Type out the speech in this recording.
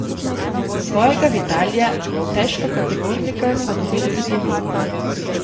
Svojega Vitalija težkokategornika smo dobili tudi mi.